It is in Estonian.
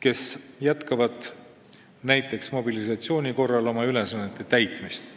kes jätkavad näiteks mobilisatsiooni korral oma ülesannete täitmist.